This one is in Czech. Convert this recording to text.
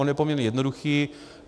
On je poměrně jednoduchý.